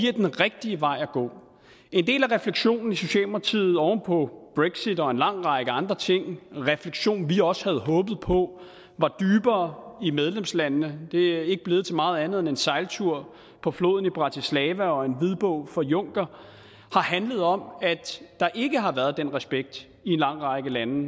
er den rigtige vej at gå en del af refleksionen i socialdemokratiet oven på brexit og en lang række andre ting en refleksion vi også havde håbet på var dybere i medlemslandene det er ikke blevet til meget andet end en sejltur på floden i bratislava og en hvidbog fra juncker har handlet om at der ikke har været den respekt i en lang række lande